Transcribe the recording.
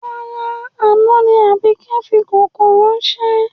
Rárá, àná ni Àbíkẹ́ fi kòkó ráńṣẹ́